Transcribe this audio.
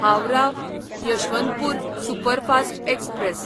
Howrah Yesvantpur superfast express